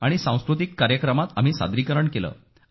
आणि सांस्कृतिक कार्यक्रमात आम्ही सादरीकरण केले सर